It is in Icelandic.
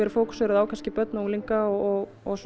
fókusera á börn og unglinga og og